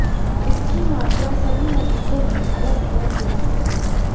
इसकी मात्रा सभी मरीजो मे अलग अलग होती है